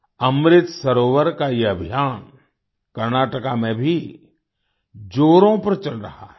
अमृत सरोवर का ये अभियान कर्नाटका में भी जोरों पर चल रहा है